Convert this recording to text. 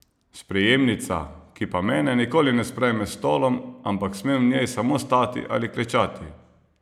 Sprejemnica, ki pa mene nikoli ne sprejme s stolom, ampak smem v njej samo stati ali klečati.